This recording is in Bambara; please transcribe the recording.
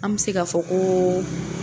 An mɛ se ka fɔ ko